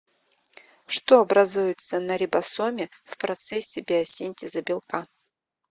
что образуется на рибосоме в процессе биосинтеза белка